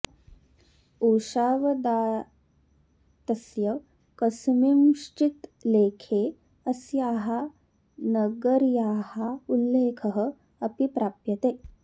उषावदातस्य कस्मिँश्चित् लेखे अस्याः नगर्याः उल्लेखः अपि प्राप्यते